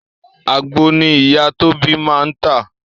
Àgbon ni ìyá Tóbi máa ń tà